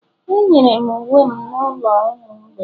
Enyere m uwe m n'ụlọ ụmụ mgbei